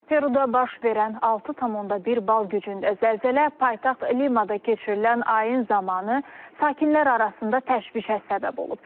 Peruda baş verən 6,1 bal gücündə zəlzələ paytaxt Limada keçirilən ayın zamanı sakinlər arasında təşvişə səbəb olub.